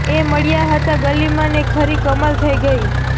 એ મળ્યા હતા ગલીમાં ને ખરી કમાલ થઇ ગઇ